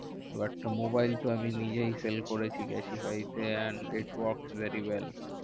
But mobile তো আমি নিজেই sell করেছি ক্যাসিফাই তে। and it works very well hmm